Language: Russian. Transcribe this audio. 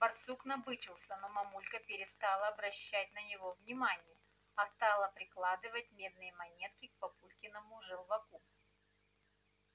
барсук набычился но мамулька перестала обращать на него внимание а стала прикладывать медные монетки к папулькиному желваку